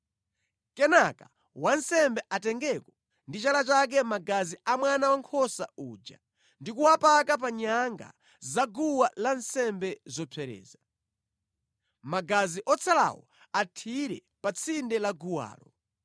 Kenaka wansembe atengeko ndi chala chake magazi a mwana wankhosa uja ndi kuwapaka pa nyanga za guwa lansembe zopsereza. Magazi otsalawo athire pa tsinde la guwalo.